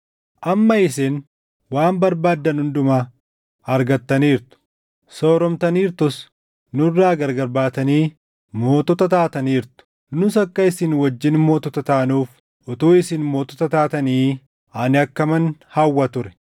Amma isin waan barbaaddan hundumaa argattaniirtu! Sooromtaniirtus! Nurraa gargar baatanii mootota taataniirtu! Nus akka isin wajjin mootota taanuuf utuu isin mootota taatanii ani akkaman hawwa ture!